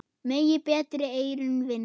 Megi betri eyrun vinna.